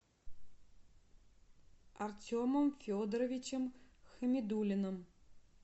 артемом федоровичем хамидуллиным